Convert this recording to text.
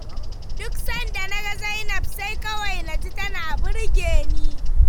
Duk sanda na ga Zainab sai kawai naji tana birge ni.